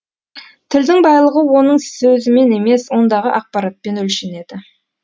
тілдің байлығы оның сөзімен емес ондағы ақпаратпен өлшенеді